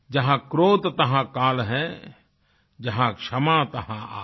जहां क्रोध तहं काल है जहां क्षमा तहं आप